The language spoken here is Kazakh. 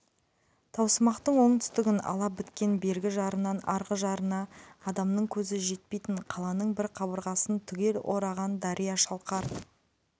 таусымақтың оңтүстігін ала біткен бергі жарынан арғы жарына адамның көзі жетпейтін қаланың бір қабырғасын түгел ораған дария шалқар